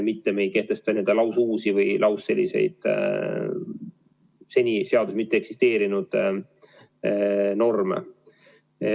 Me ei kehtesta lausuusi, seni seaduses mitte eksisteerinud norme.